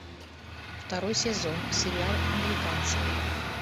второй сезон сериал американцы